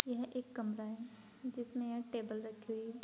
यह एक कमरा है जिसमें ये टेबल रखी हुई है।